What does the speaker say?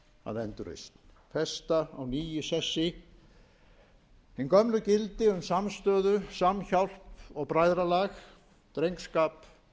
að endurreisn festa á ný í sessi hin gömlu gildi um samstöðu samhjálp og bræðralag drengskap